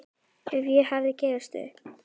Að ég hafi gefist upp.